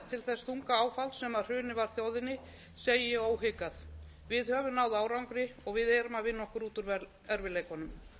hrunið var þjóðinni segi ég óhikað við höfum náð árangri og við erum að vinna okkur út úr erfiðleikunum